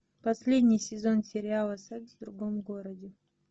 последний сезон сериала секс в другом городе